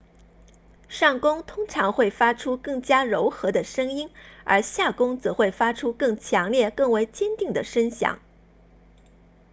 上弓通常会发出更加柔和的声音而下弓则会发出更强烈更为坚定的声响